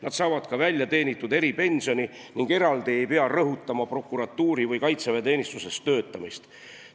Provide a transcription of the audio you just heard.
Nad saavad ka väljateenitud eripensioni ning eraldi ei pea rõhutama prokuratuuris või kaitseväeteenistuses töötamist.